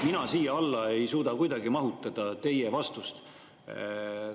Mina ei suuda kuidagi siia alla teie vastust mahutada.